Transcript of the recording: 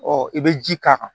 i bɛ ji k'a kan